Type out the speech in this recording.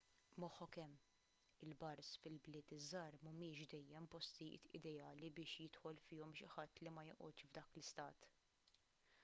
moħħok hemm il-bars fil-bliet iż-żgħar mhumiex dejjem postijiet ideali biex jidħol fihom xi ħadd li ma joqgħodx f'dak l-istat